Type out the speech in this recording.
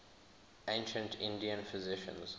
ancient indian physicians